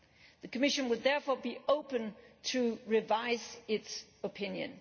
The Commission would therefore be open to revising its opinion.